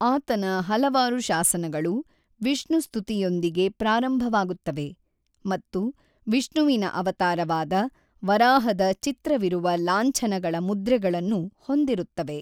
ಆತನ ಹಲವಾರು ಶಾಸನಗಳು ವಿಷ್ಣು-ಸ್ತುತಿಯೊಂದಿಗೆ ಪ್ರಾರಂಭವಾಗುತ್ತವೆ, ಮತ್ತು ವಿಷ್ಣುವಿನ ಅವತಾರವಾದ ವರಾಹದ ಚಿತ್ರವಿರುವ ಲಾಂಛನಗಳ ಮುದ್ರೆಗಳನ್ನು ಹೊಂದಿರುತ್ತವೆ.